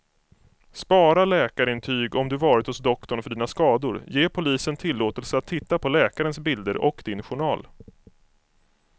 Spara läkarintyg om du varit hos doktorn för dina skador, ge polisen tillåtelse att titta på läkarens bilder och din journal.